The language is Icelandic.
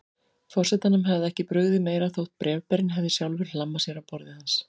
Forsetanum hefði ekki brugðið meira þótt bréfberinn hefði sjálfur hlammað sér á borðið hans.